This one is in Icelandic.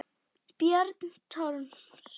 Björn Thors.